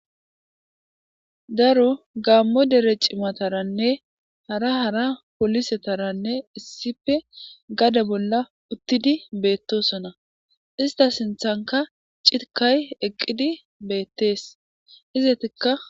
Daro gaammo dere cimataranne hara hara polisetaranne issipe gade bolla uttidi beettosona ista sinthanka citkay eqqidi beettees izetikka.